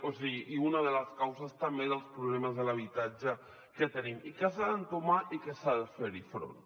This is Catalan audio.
o sigui una de les causes també dels problemes de l’habitatge que tenim i que s’ha d’entomar i que s’hi ha de fer front